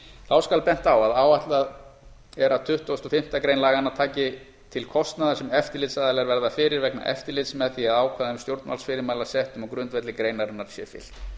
þá skal bent á að áætlað er að tuttugasta og fimmtu grein laganna taki til kostnaðar sem eftirlitsaðilar verða fyrir vegna eftirlits með því að ákvæðum stjórnvaldsfyrirmæla settum á grundvelli greinarinnar sé fylgt